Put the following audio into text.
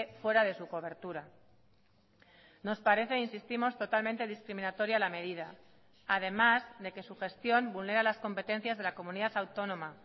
fuera de su cobertura nos parece insistimos totalmente discriminatoria la medida además de que su gestión vulnera las competencias de la comunidad autónoma